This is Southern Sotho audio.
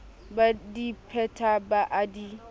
badi phetang ba a di